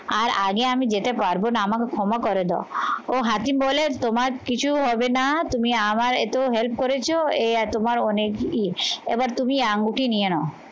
আর আগে আমি যেতে পারবো না আমাকে ক্ষমা করে দাও ও হাকিম বলে তোমার কিছু হবে না তুমি আমার এতো help করেছো এই তোমার অনেক এবার তুমি আঙ্গুটি নিয়ে নাও।